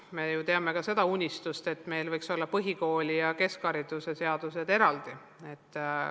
Me teame ju ka seda unistust, et meil võiks olla põhikooli- ja keskhariduse seadus eraldi.